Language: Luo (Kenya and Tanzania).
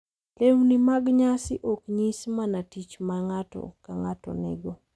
Lewni mag nyasi ok nyis mana tich ma ng’ato ka ng’ato nigo